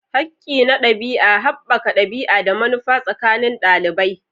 Hakki na ɗabi'a: haɓaka ɗabi'a da manufa tsakanin ɗalibai.